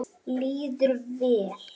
Líður vel.